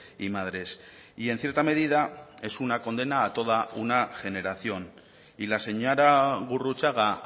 y madres y en cierta medida es una condena a toda una generación y la señora gurrutxaga